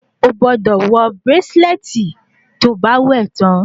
O gbọ́dọ̀ wọ bírácílẹ̀tì tí o bá wẹ̀ tán